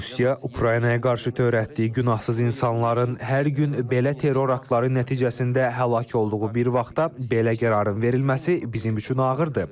Rusiya Ukraynaya qarşı törətdiyi günahsız insanların hər gün belə terror aktları nəticəsində həlak olduğu bir vaxtda belə qərarın verilməsi bizim üçün ağırdır.